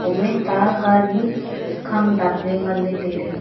hom ae ta gari khang dap ley ngan ley tailey.